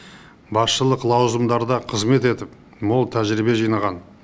басшылық лауазымдарда қызмет етіп мол тәжірибе жинаған